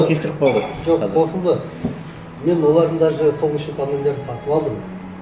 ескіріп қалды жоқ қосылды мен олардың даже солнечный панельдерін сатып алдым